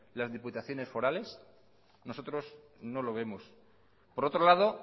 las diputaciones forales nosotros no lo vemos por otro lado